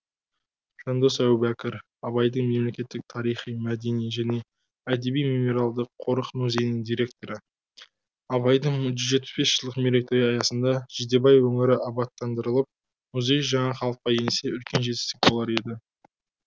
жандос әубәкір абайдың мемлекеттік тарихи мәдени және әдеби мемориалдық қорық музейінің директоры абайдың жүз жетпіс бес жылдық мерейтойы аясында жидебай өңірі абаттандырылып музей жаңа қалыпқа енсе үлкен жетістік болар еді